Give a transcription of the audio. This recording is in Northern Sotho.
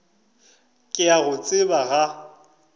ke a go tseba ga